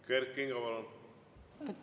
Kert Kingo, palun!